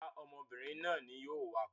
Rárá, ọmọbìnrin náà ni yóò wakọ̀.